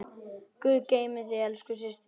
Guð geymi þig elsku systir.